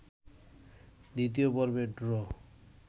২য় পর্বের ড্র